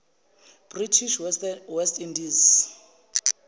british west indies